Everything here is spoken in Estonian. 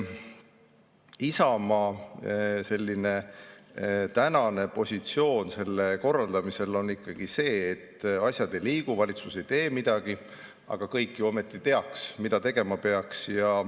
Isamaa tänane positsioon selle korraldamisel on ikkagi see, et asjad ei liigu, valitsus ei tee midagi, aga kõik ju ometi teavad, mida tegema peaks.